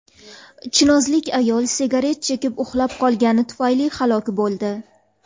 Chinozlik ayol sigaret chekib uxlab qolgani tufayli halok bo‘ldi.